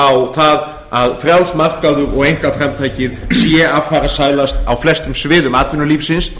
á það að frjáls markaður og einkaframtakið sé affarasælast á flestum sviðum atvinnulífsins